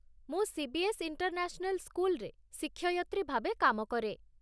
ମୁଁ CBS. International ସ୍କୁଲରେ ଶିକ୍ଷୟତ୍ରୀ ଭାବେ କାମ କରେ।